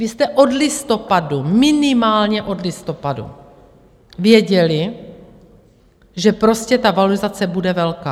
Vy jste od listopadu, minimálně od listopadu věděli, že prostě ta valorizace bude velká.